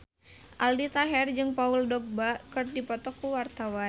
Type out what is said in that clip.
Aldi Taher jeung Paul Dogba keur dipoto ku wartawan